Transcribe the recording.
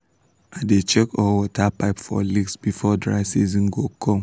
i dey check all water pipes for leaks before dry season go come.